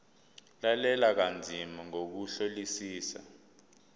lalela kanzima ngokuhlolisisa